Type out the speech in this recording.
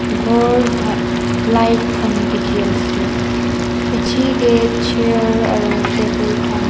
gour tha light khan dekhe ase piche ke chair aru table khan--